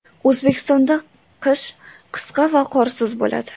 O‘zbekistonda qish qisqa va qorsiz bo‘ladi.